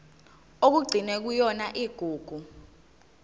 okugcinwe kuyona igugu